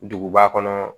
Duguba kɔnɔ